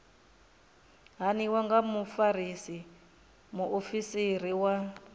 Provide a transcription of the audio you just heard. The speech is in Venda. haniwa nga mufarisa muofisiri wa